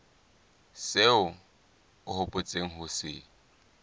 seo o hopotseng ho se